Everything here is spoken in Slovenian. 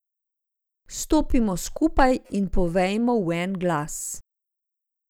Stopimo skupaj in povejmo v en glas.